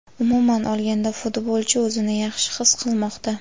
Umuman olganda futbolchi o‘zini yaxshi his qilmoqda.